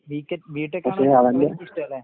B കെറ്റ് ബി ടെക്കാണ് ഇഷ്ടവല്ലേ?